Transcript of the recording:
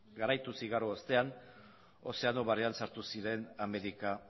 garaituz igaro ostean ozeano barean sartu ziren amerika